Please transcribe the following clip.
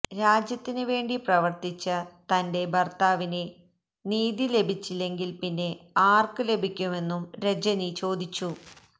രാജ്യത്തിന് വേണ്ടി പ്രവര്ത്തിച്ച തന്റെ ഭര്ത്താവിന് നീതി ലഭിച്ചില്ലെങ്കില് പിന്നെ ആര്ക്ക് ലഭിക്കുമെന്നും രജനി ചോദിച്ചു